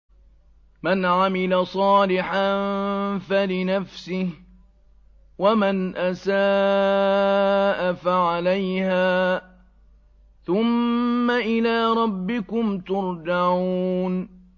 مَنْ عَمِلَ صَالِحًا فَلِنَفْسِهِ ۖ وَمَنْ أَسَاءَ فَعَلَيْهَا ۖ ثُمَّ إِلَىٰ رَبِّكُمْ تُرْجَعُونَ